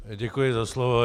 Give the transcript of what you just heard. Děkuji za slovo.